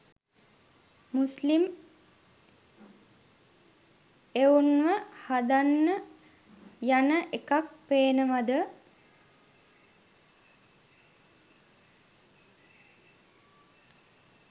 මුස්ලිම් එවුන්ව හදන්න යන එකක් පේනවද?